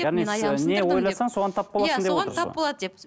не ойласаң соған тап боласың